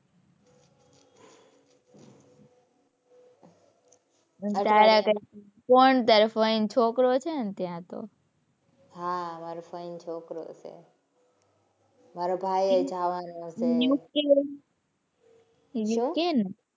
તારે કોણ તારા ફઈ નો છોકરો છે ને ત્યાં તો. હાં માર ફઈ નો છોકરો છે. મારો ભાઈય જવાનો છે. UK ને